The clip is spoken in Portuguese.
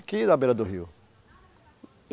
da beira do rio.